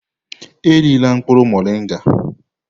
Erila mkpụrụ moringa!